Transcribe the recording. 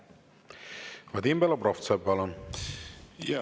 Vadim Belobrovtsev, palun!